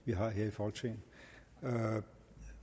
vi har her i folketinget